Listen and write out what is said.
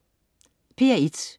P1: